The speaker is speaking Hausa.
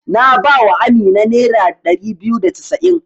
Na ba wa Amina nera ɗari biyu da casa'in.